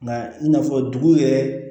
Nka i n'a fɔ dugu yɛrɛ